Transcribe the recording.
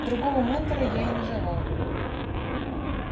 другого ментора я и не желал